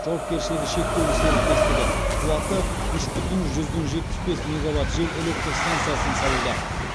жауапкершілігі шектеулі серіктестігі қуаты үш бүтін жүзден жетпіс бес мегаватт жел электр стансасын салуда